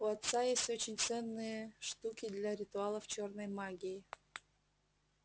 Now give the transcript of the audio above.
у отца есть очень ценные штуки для ритуалов чёрной магии